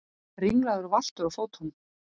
Ringlaður og valtur á fótunum.